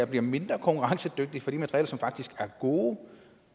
bliver mindre konkurrencedygtigt for de materialer som faktisk er gode